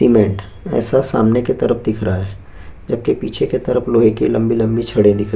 और कुछ तगारी में समान ले कर जा रहे है आगे की और कुछ लम्बे लम्बे सफेद बांस भी दिख रहे है।